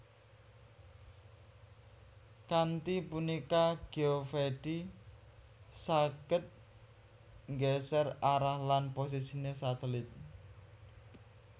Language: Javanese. Kanthi punika Geovedi saged nggeser arah lan posisine satelit